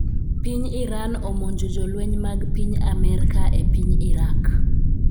piny Iran omonjo jolweny mag piny Amerka e piny Irak